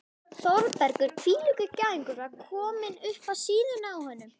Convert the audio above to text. Þórbergur hvílíkur gæðingur var kominn upp að síðunni á honum?